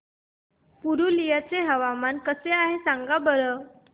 पुरुलिया चे हवामान कसे आहे सांगा बरं